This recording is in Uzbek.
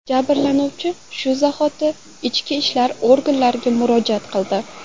Jabrlanuvchi shu zahoti ichki ishlar oganlariga murojaat qildi.